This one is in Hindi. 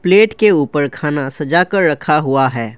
प्लेट के ऊपर खाना सजा कर रखा हुआ है।